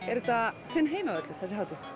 er þetta þinn heimavöllur þessi hátíð